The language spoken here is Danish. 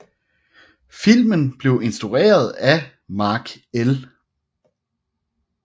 Filmen blev instrueret af Mark L